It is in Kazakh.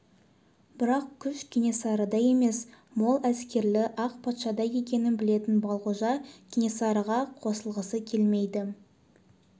бірақ күш кенесарыда емес мол әскерлі ақ патшада екенін білетін балғожа кенесарыға қосылғысы келмейді